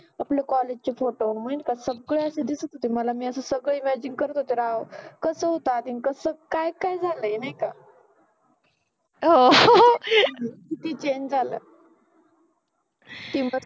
आपल्या कॉलेज चे फोटो सगळे असे दिसत होते मला मि सगळे असे इमॅजिन करत होते राव, कस होत आधि अन कस काय काय झालय नाहि का हो किति चेंज झालय